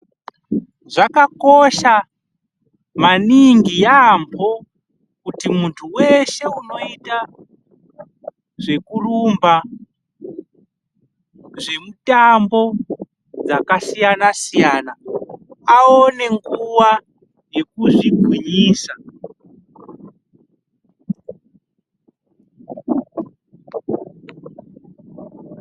Zvakakosha maningi yaambo kuti mundu weshe unoita zvekurumba, zvemitambo dzakasiyana siyana aone nguwa yekuzvigwinyisa.